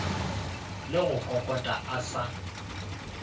le go kokota a sa